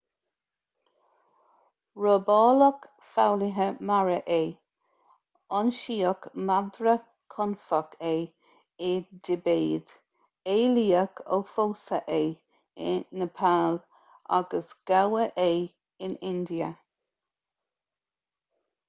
robáladh foghlaithe mara é ionsaíodh madra confach é i dtibéid éalaíodh ó phósadh é i neipeal agus gabhadh é in india